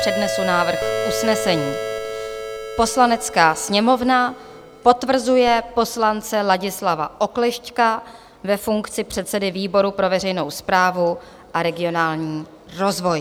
Přednesu návrh usnesení: "Poslanecká sněmovna potvrzuje poslance Ladislava Oklešťka ve funkci předsedy výboru pro veřejnou správu a regionální rozvoj."